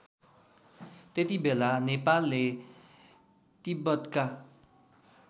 त्यतिबेला नेपालले तिब्बतका